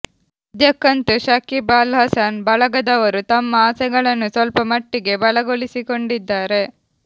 ಸದ್ಯಕ್ಕಂತೂ ಶಕೀಬ್ ಅಲ್ ಹಸನ್ ಬಳಗದವರು ತಮ್ಮ ಆಸೆಗಳನ್ನು ಸ್ವಲ್ಪ ಮಟ್ಟಿಗೆ ಬಲಗೊಳಿಸಿಕೊಂಡಿದ್ದಾರೆ